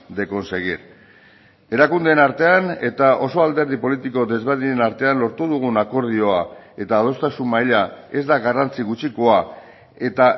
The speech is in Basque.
de conseguir erakundeen artean eta oso alderdi politiko desberdinen artean lortu dugun akordioa eta adostasun maila ez da garrantzi gutxikoa eta